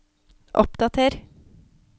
oppdater